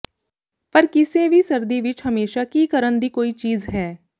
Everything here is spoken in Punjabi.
ਪਰ ਕਿਸੇ ਵੀ ਸਰਦੀ ਵਿੱਚ ਹਮੇਸ਼ਾ ਕੀ ਕਰਨ ਦੀ ਕੋਈ ਚੀਜ਼ ਹੈ